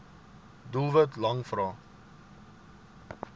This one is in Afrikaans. doelwit lang vrae